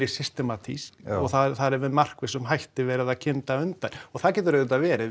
systematískt og þar er með markvissum hætti verið að kynda undir og það getur auðvitað verið